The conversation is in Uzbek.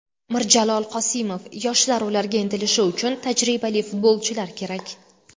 Mirjalol Qosimov: Yoshlar ularga intilishi uchun tajribali futbolchilar kerak .